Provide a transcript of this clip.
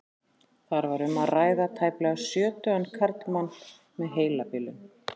Þar var um að ræða tæplega sjötugan karlmann með heilabilun.